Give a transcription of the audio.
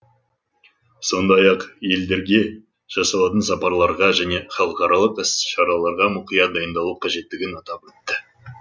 сондай ақ елдерге жасалатын сапарларға және халықаралық іс шараларға мұқият дайындалу қажеттігін атап өтті